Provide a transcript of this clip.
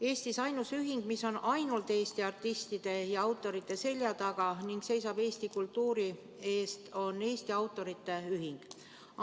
Eestis on ainus ühing, mis on ainult Eesti artistide ja autorite selja taga ning seisab eesti kultuuri eest, Eesti Autorite Ühing.